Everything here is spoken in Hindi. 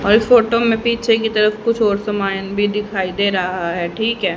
और इस फोटो में पीछे की तरफ कुछ और सामान भी दिखाई दे रहा है ठीक है।